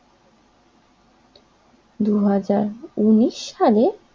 দুই হাজার উনিশ সালে